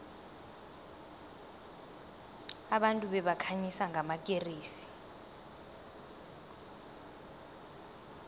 abantu babekhanyisa ngamakeresi